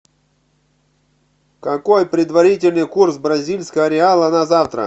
какой предварительный курс бразильского реала на завтра